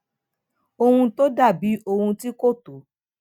ohun tó dà bí ohun tí kò tó